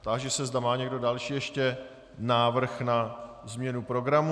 Táži se, zda má někdo další ještě návrh na změnu programu.